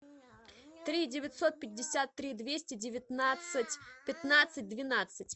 три девятьсот пятьдесят три двести девятнадцать пятнадцать двенадцать